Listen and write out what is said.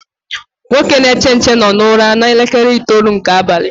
Nwoke na-eche nche no na ụra na elekere itoolu nke abalị